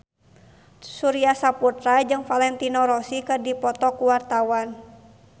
Surya Saputra jeung Valentino Rossi keur dipoto ku wartawan